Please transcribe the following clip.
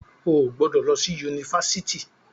O ò gbọdọ̀ lọ sí Yunifásitì.